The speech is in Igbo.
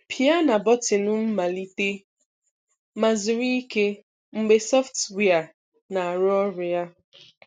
Pịa na bọtịnụ "Mmalite" ma zuru ike mgbe sọftụwia na-arụ ọrụ ya.